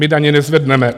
My daně nezvedneme.